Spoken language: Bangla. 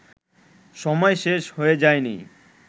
সময় শেষ হয়ে যায়নি